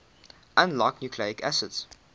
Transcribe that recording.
unlike nucleic acids